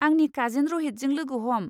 आंनि काजिन रहितजों लोगो ह'म।